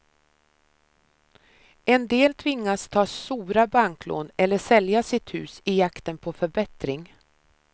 En del tvingas ta sora banklån eller sälja sitt hus i jakten på förbättring.